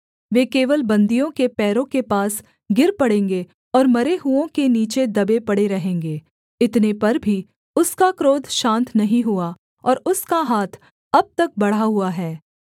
वे केवल बन्दियों के पैरों के पास गिर पड़ेंगे और मरे हुओं के नीचे दबे पड़े रहेंगे इतने पर भी उसका क्रोध शान्त नहीं हुआ और उसका हाथ अब तक बढ़ा हुआ है